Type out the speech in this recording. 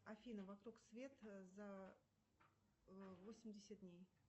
афина вокруг света за восемьдесят дней